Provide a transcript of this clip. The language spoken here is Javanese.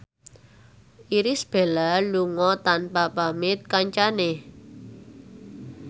Irish Bella lunga tanpa pamit kancane